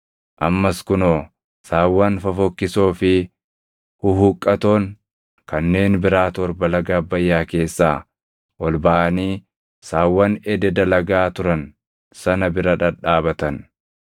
Ammas kunoo, saawwan fofokkisoo fi huhuqqatoon kanneen biraa torba laga Abbayyaa keessaa ol baʼanii saawwan ededa lagaa turan sana bira dhadhaabatan.